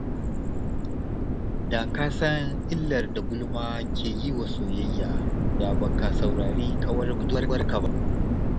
Da ka san illar da gulma ke yi wa soyayya, da ba ka saurari ƙawar budurwarka ba.